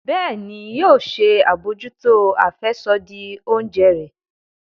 Bẹẹni, yóò ṣe abojuto afẹsodi oúnjẹ rẹ